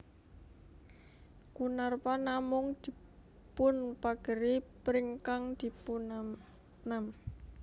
Kunarpa namung dipunpageri pring kang dipunanam